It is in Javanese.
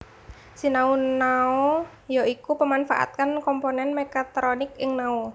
Sinau Nao ya iku pemanfaatan komponen mekatronik ing nao